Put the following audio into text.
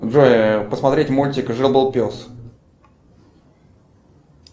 джой посмотреть мультик жил был пес